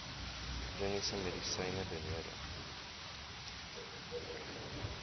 chroniese medisyne benodig